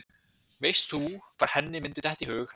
Veist þú hvar henni myndi detta í hug að fela sig?